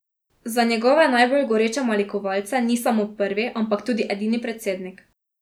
Za njegove najbolj goreče malikovalce ni samo prvi, ampak tudi edini predsednik!